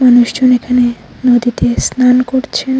মানুষজন এখানে নদীতে স্নান করছে।